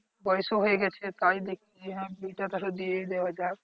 পয়সাও হয়ে গেছে তাই দেখি যে হ্যা বিয়েটা তো আসলে দিয়ে দেয়াই যায়